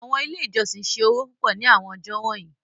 Awọn ile ijọsin ṣe owo pupọ ni awọn ọjọ wọnyi